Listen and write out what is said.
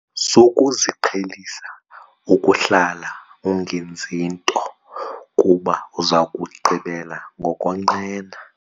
Sukuziqhelisa ukuhlala ungenzi nto kuba uza kugqibela ngokonqena.